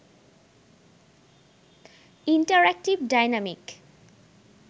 interactive, dynamic